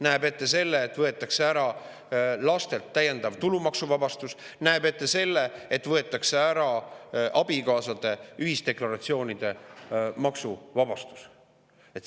Nähakse ette ka see, et võetakse ära täiendav tulumaksuvabastus laste pealt, samuti abikaasade ühisdeklaratsioonide maksuvabastus.